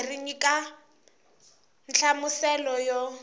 kambe ri nyika nhlamuselo yo